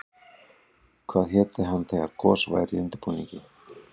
Hvað héti hann þegar gos væri í undirbúningi?